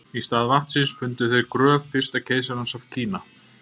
í stað vatnsins fundu þeir gröf fyrsta keisarans af kína